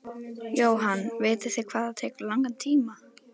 Jóhann: Vitið þið hvað það tekur langan tíma?